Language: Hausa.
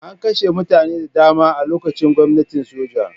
An kashe mutane da dama a lokacin gwamnatin soja.